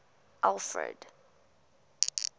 alfred